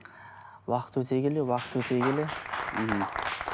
уақыт өте келе уақыт өте келе